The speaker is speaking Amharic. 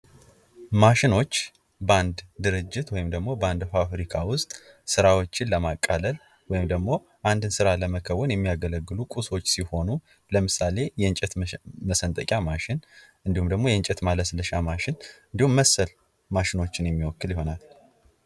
ማሽኖች በአንድ ድርጅት ወይም ደግሞ ፋብሪካ ዉስጥ ስራዎችን ለማቃለል ወይም ደግሞ አንድን ስራ ለመከወን የሚያገለግሉ ቁሶች ሲሆኑ ለምሳሌ የእንጨት መሰንጠቂያ ማሽን እንዲሁም ደግሞ የእንጨት ማለስለሻ ማሽን እንዲሁም መሰል ማሽኖችን የሚወክል ይሆናል።